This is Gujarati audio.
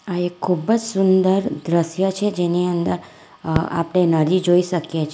આ એક ખૂબ જ સુંદર દ્રશ્ય છે જેની અંદર અ આપણે નદી જોઈ શકીએ છે.